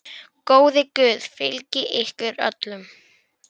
Góður Guð fylgi ykkur öllum.